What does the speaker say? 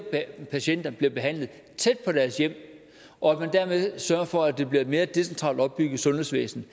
patienter bliver behandlet tæt på deres hjem og at man dermed sørger for at det bliver et mere decentralt opbygget sundhedsvæsen